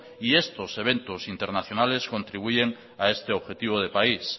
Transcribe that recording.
y estos eventos internacionales contribuyen a este objetivo de país